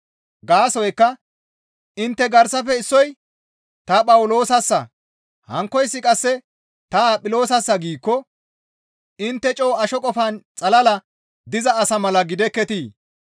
Gaasoykka intte garsafe issoy, «Ta Phawuloosassa» hankkoyssi qasse, «Ta Aphiloosassa» giikko intte coo asho qofan xalala diza asa mala gidekketii?